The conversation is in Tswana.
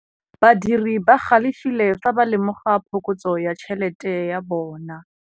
Badiri ba galefile fa ba lemoga phokotsô ya tšhelête ya bone.